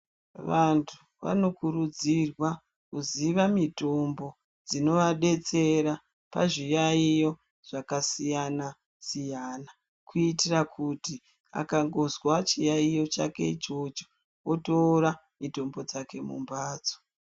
Vanthu vanokurudzirwa kuziva mitombo dzinovadetsera pazviyaiyo zvakasiya-siyana, kuitira kuti akangozwa chiyaiyo chake ichocho, otora mitombo dzake mumphatso.